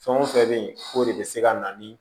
Fɛn o fɛn bɛ yen o de bɛ se ka na ni